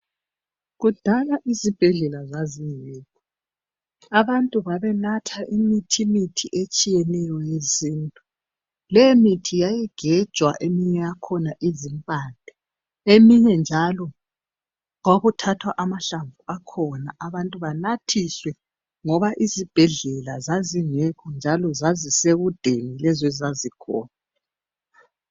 Kudala isibhedlela zazingekho abantu babenatha imithimithi etshiyeneyo yesintu lemithi yayigejwa eminye yakhona izimpande eminye njalo kwakuthathwa amahlamvu akhona abantu banathiswe ngoba izibhedlela zazingekho njalo zazisekudeni lezo ezazikhona.